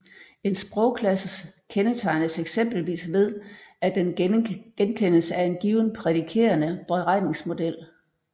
En sprogklasse kendetegnes eksempelvis ved at den genkendes af en given prædikerende beregningsmodel